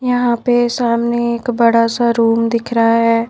यहां पे सामने एक बड़ा सा रूम दिख रहा है।